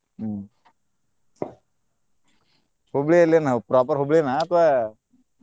ಹ್ಮ್ ಹುಬ್ಳಿಯಲ್ಲಿ ಏನ proper ಹುಬ್ಳಿನಾ ಅಥವಾ?